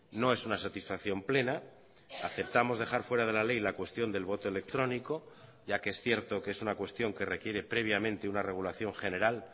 no es una satisfacción plena aceptamos dejar fuera de la ley la cuestión del voto electrónico ya que es cierto que es una cuestión que requiere previamente una regulación general